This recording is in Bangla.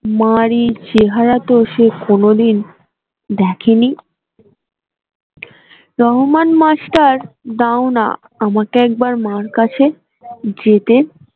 মার এই চেহারা তো সে কোনদিন দেখেনি রহমান মাস্টার দাওনা আমাকে একবার মার কাছে যেতে